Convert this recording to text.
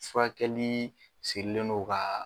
Furakɛlii sirilendo kaa